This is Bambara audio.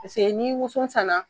Paseke ni woson sanna